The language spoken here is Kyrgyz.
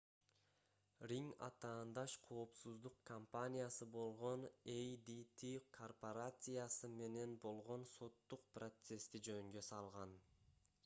ринг атаандаш коопсуздук компаниясы болгон adt корпорациясы менен болгон соттук процессти жөнгө салган